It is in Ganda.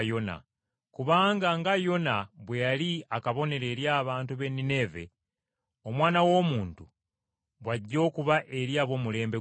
Kubanga Yona nga bwe yali akabonero eri abantu b’e Nineeve, n’Omwana w’Omuntu, bw’ajja okuba eri ab’omulembe guno.